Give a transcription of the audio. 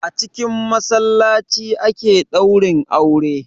A cikin massalaci ake daurin aure.